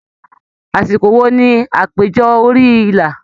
Àsìkò wo ní àpéjọ orí ìlà?